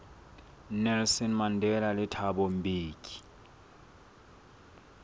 nelson mandela le thabo mbeki